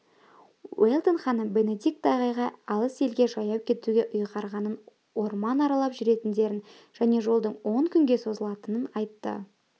уэлдон ханым бенедикт ағайға алыс елге жаяу кетуге ұйғарылғанын орман аралап жүретіндерін және жолдың он күнге созылатынын айтты